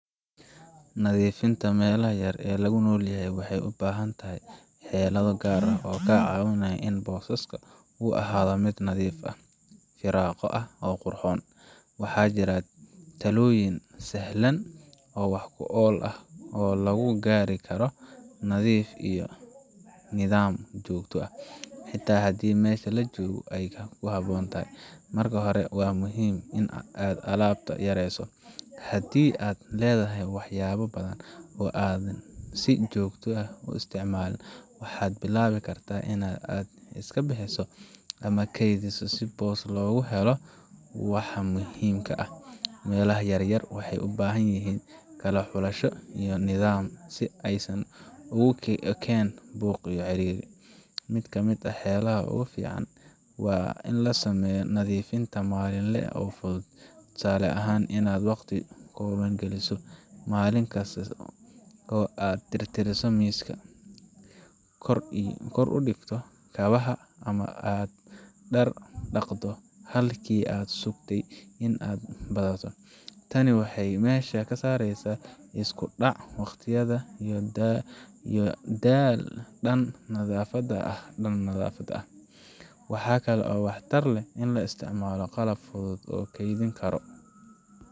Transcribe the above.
Nadiifinta meelaha yar ee lagu noolyahay waxay u baahan tahay xeelado gaar ah oo kaa caawinaya in booskaas uu ahaado mid nadiif ah, firaaqo leh, oo qurxoon. Waxaa jira talooyin sahlan oo wax ku ool ah oo lagu gaari karo nadiif iyo nidaam joogto ah, xitaa haddii meesha la joogo ay kooban tahay. Marka hore, waa muhiim in aad alaabta yareyso. Haddii aad leedahay waxyaabo badan oo aadan si joogto ah u isticmaalin, waxaad bilaabi kartaa in aad iska bixiso ama keydiso si boos loogu helo waxa muhiimka ah. Meelaha yar yar waxay u baahan yihiin kala xulasho iyo nidaam si aysan ugu ekaan buuq iyo ciriiri. Mid ka mid ah xeeladaha ugu fiican waa in la sameeyo nadiifin maalinle ah oo fudud. Tusaale ahaan, inaad waqti kooban geliso maalin kasta oo aad tirtirto miiska, kor u dhigto kabaha, ama aad dhar dhaqdo halkii aad sugteen in ay badato. Tani waxay meesha ka saaraysaa isku dhac waqtiyeed iyo daal dhan nadaafadda ah. Waxaa kale oo waxtar leh in la isticmaalo qalab si fudud loo kaydin karo